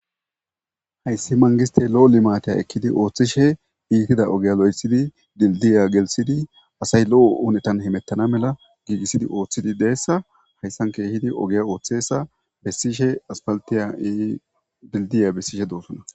hayssi mangiste lo7o limaateya ekkidi ooththishe iikida ogeya lo7esidi dildiya gelsidi asay lo7o oonetan himettana mela giigissidi ooththidi deessa hayssan keehidi ogeya ooththesa bessishe aspaltiya e dildiya bessishe doossuna